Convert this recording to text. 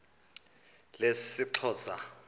lesixhosa